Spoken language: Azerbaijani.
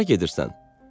Hara gedirsən?